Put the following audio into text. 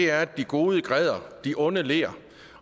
er at de gode græder og de onde ler